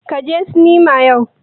Ka je sinima yau?